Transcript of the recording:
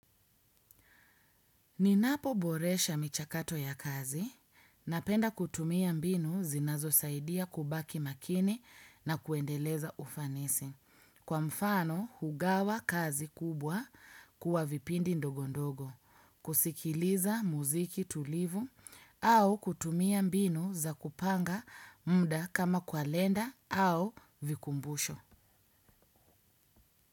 Ninapo boresha michakato ya kazi, napenda kutumia mbinu zinazo saidia kubaki makini na kuendeleza ufanisi. Kwa mfano, hugawa kazi kubwa kuwa vipindi ndog ondogo, kusikiliza muziki tulivu au kutumia mbinu za kupanga muda kama kalenda au vikumbusho.